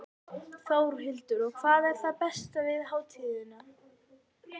Þórhildur: Og hvað er það besta við hátíðina?